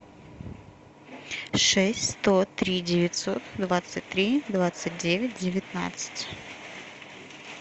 шесть сто три девятьсот двадцать три двадцать девять девятнадцать